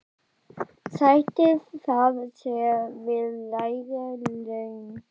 Sættir það sig við lægri laun?